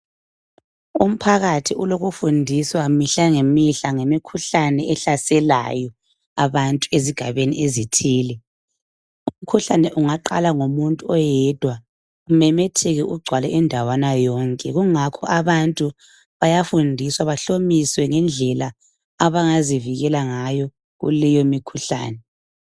Umphakathi ulokufundiswa mihla ngemihla, ngemikhuhlane ehlaselayo abantu ezigabeni ezithile. Umkhuhlane ungaqala ngomuntu oyedwa ,umemetheke ugcwale indawana yonke .Kungakho abantu bayafundiswa bahlomiswe ngendlela abangazivikela ngayo kuleyo mikhuhlane.